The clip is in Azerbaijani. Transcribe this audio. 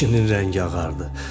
Kişinin rəngi ağardı.